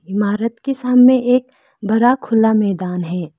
इमारत के सामने एक बड़ा खुला मैदान है।